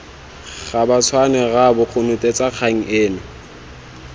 gabatshwane rraabo konotetsa kgang eno